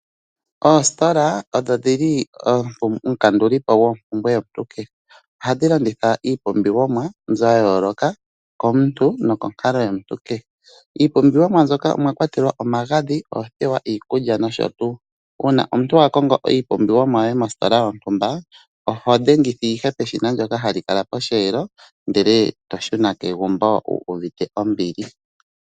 Oostola odho dhili omukandulipo goo mpumbwe yo muntu kehe ohadhi landitha iipumbiwo mwa yayoloka komuntu no ko nkalo yomuntu kehe , iipumbiwo mwa mbyoka omwa kwatelwa omagadhi ,othewa , iikulya nosho tuu uuna omuntu a kongo iipumbiwa mo yoye mostola yontumba , oho dhengitha ihe peshina hali kala posheelo ndele toshuna kegumbo uuvite ombili.